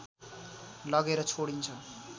लगेर छोडिन्छ